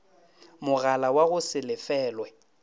mogala wa go se lefelwe